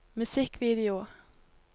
musikkvideo